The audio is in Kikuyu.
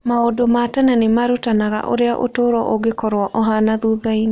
Maũndũ ma tene nĩ marutanaga ũrĩa ũtũũro ũngĩkorũo ũhaana thutha-inĩ.